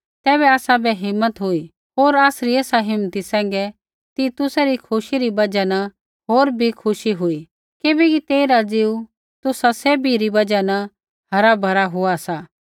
तैबै आसाबै हिम्मत हुई होर आसरी ऐसा हिम्मती सैंघै तितुसै री खुशी री बजहा न होर भी खुशी हुई किबैकि तेइरा ज़ीऊ तुसा सैभी री बजहा न हरा भरा हुआ सा